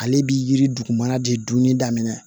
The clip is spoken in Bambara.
Ale bi yiri dugumana de dunni daminɛ